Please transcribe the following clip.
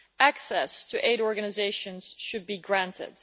Access to aid organisations should be granted.